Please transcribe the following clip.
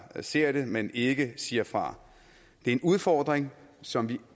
ser det men ikke siger fra det er en udfordring som vi